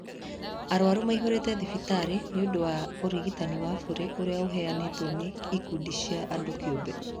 Arwaru maihũrĩte thibitarĩ nĩundũ wa ũrigitani wa bure ũria ũraheanwo nĩ ikundi cia andũ kĩũmbe